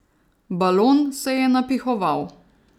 Balon se je napihoval.